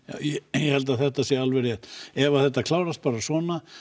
ég held að þetta sé alveg rétt ef þetta klárast bara svona